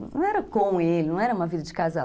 Não era com ele, não era uma vida de casal.